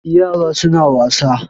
Yaran sa suna wasa